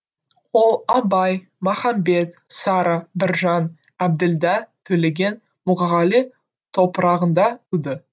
ол абай махамбет сара біржан әбділда төлеген мұқағали топырағында туды